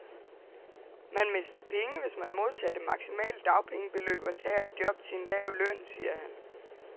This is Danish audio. Man mister penge, hvis man modtager det maksimale dagpenge beløb og tager et job til en lav løn, siger han.